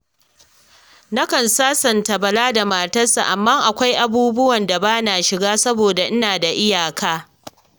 Nakan sasanta Bala da matarsa, amma akwai abubuwan da ba na shiga saboda ina da iyaka